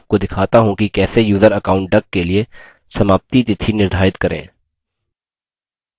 मैं आपको दिखाता how कि कैसे यूज़र account duck के लिए समाप्ति तिथि निर्धारित करें